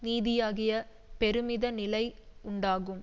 நீதியாகிய பெருமித நிலை உண்டாகும்